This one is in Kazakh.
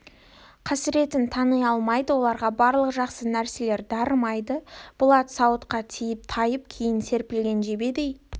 қасіретін тани алмайды оларға барлық жақсы нәрселер дарымайды болат сауытқа тиіп тайып кейін серпілген жебедей